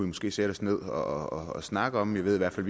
måske sætte os ned og snakke om jeg ved i hvert fald